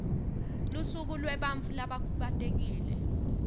lusuku lwebantfu labakhubatekile